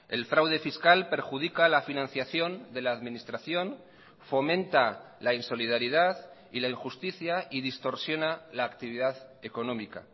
el fraude fiscal perjudica la financiación de la administración fomenta la insolidaridad y la injusticia y distorsiona la actividad económica